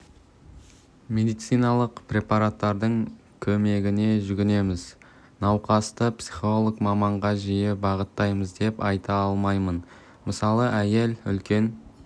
медициналық препараттардың көмегіне жүгінеміз науқасты психолог маманға жиі бағыттаймыз деп айта алмаймын мысалы әйел үлкен